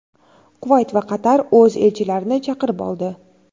Quvayt va Qatar o‘z elchilarini chaqirib oldi.